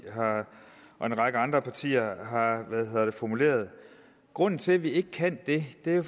og en række andre partier har formuleret grunden til at vi ikke kan det er jo